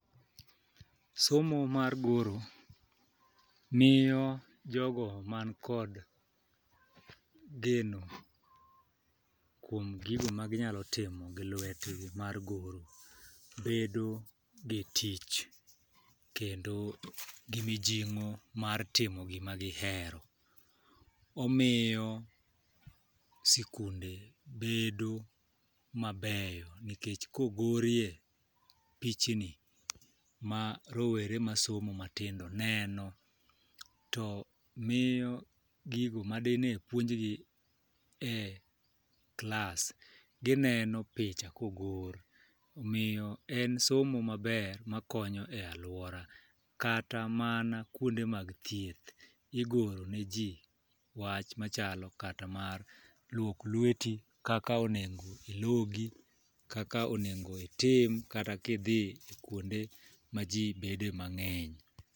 Somo mar goro miyo jogo man kod geno kuom gigo ma ginyalo timo gi lwetgi mar goro bedo gi tich kendo gi mijing'o mar timo gima gihero. Omiyo sikunde bedo mabeyo nikech kogorie pichni ma rowere masomo matindo neno , to miyo gigo madine puonjgi e klas gineno picha kogor. Omiyo en somo maber makonyo e aluora kata mana kuonde mag thieth igoro ne jii wach machalo kata mar lok lweti, kaka onego ilogi kaka onego itim kata kidhi kuonde ma jii bede mang'eny.